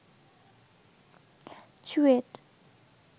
CUET